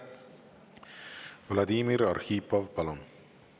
Vladimir Arhipov, palun!